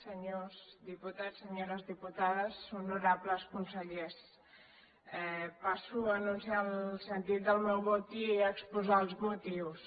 senyors diputats senyores diputades honorables consellers passo a anunciar el sentit del meu vot i a exposar ne els motius